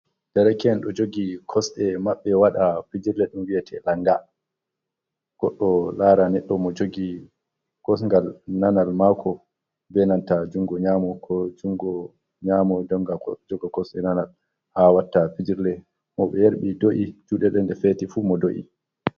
Ɗareken ɗo jogi kosɗe mabbe waɗa fijirle ɗun wi'ete langa. Goɗɗo lara neɗɗ mo jogi kosgal nanal mako benanta jungo nyamo, ko jungo nyamo jonga jogo kosɗe nanal ha watta fijirle. mo be yarbi do’i juɗe ɗen ɗe feti fu mo do’i.